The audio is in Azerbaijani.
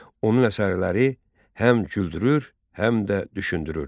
Onun əsərləri həm güldürür, həm də düşündürür.